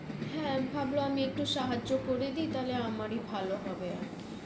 ভাবল আমি একটু সাহায্য় করে দেই তাহলে আমারই ভালো হবে আরকি